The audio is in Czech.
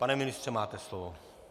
Pane ministře, máte slovo.